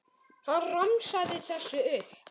Hann romsaði þessu upp.